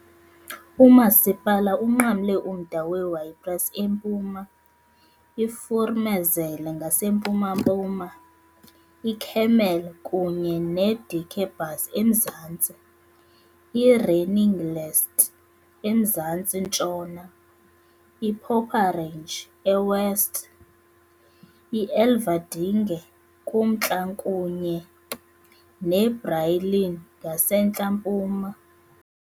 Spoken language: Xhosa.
Umasipala unqamle umda we-Ypres eMpuma, iVoormezele ngasempuma-mpuma, iKemmel kunye neDikkebus eMzantsi, i-Reningelst eMzantsi-ntshona, i-Poperinge eWest, i-Elverdinge kumntla kunye neBrielen ngasentla-mpuma.